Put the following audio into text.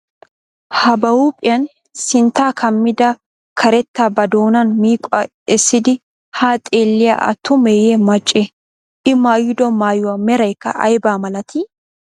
Ha ba huuphiyan sinttaa kammida karetta ba doonan miiqquwa essidi haa xeelliyay atumeeye maccee? I mayyido maayuwa merayikka ayabaa malatii?